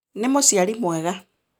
Nĩ mũciari mwega